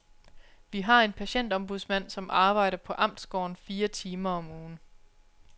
Vi har en patientombudsmand, som arbejder på amtsgården fire timer om ugen.